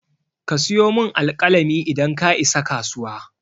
Ka siyo min alƙalami idan ka isa kasuwa.